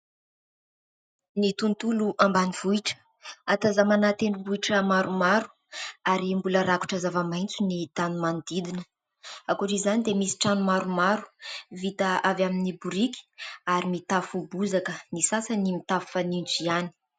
Ny tontolo ambanivohitra ahatazanana tendrombohitra maromaro ary mbola rakotra zava-maitso ny tany manodidina. Ankoatra izany dia mbola misy trano maromaro vita avy amin'ny biriky ary mitafo bozaka, ny sasany mitafo fanitso ihany.